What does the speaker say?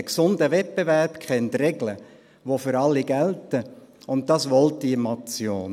Ein gesunder Wettbewerb kennt Regeln, die für alle gelten, und das will diese Motion.